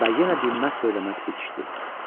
Və yenə dinməz söyləməz bitişdi.